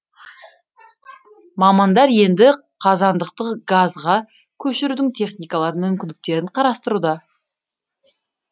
мамандар енді қазандықты газға көшірудің техникалық мүмкіндіктерін қарастыруда